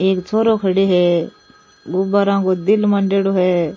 एक छोरो खड़े है गुब्बाराओ को दिल मांडेडो है।